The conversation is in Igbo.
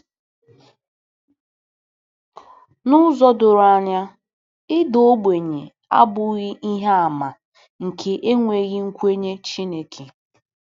N’ụzọ doro anya, ịda ogbenye abụghị ihe àmà nke enweghị nkwenye Chineke.